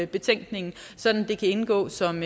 betænkningen så det kan indgå som